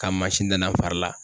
Ka mansin danna n fari la.